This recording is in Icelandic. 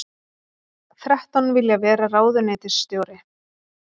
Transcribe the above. Þrettán vilja vera ráðuneytisstjóri